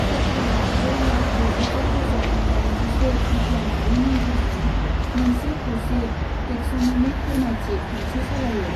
सोरखारा ब्रै लाख द'जिब्रै रोजा दाइनजिसे बिगियानारि मुंफोरजों मोनसे खौसे टेक्स'नमिक फोरमायथि खान्थि सालायो।